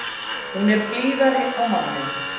Hún er blíðari á manninn.